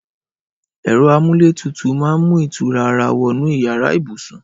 Ẹrọ àmúlétútú mà n mú itúrá àrà wọnú iyàrá ibúsún